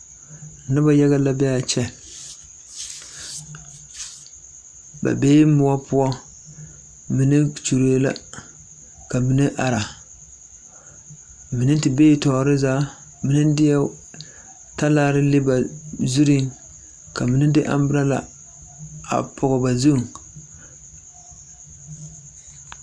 Noba yaga la be a kyɛ, ba bee moɔ poɔ mine kyollee la ka mine are, mine te bee tɔɔre zaa, mine deɛ talaare le ba zureŋ, ka mine de 'umbrella' a pɔge ba zu.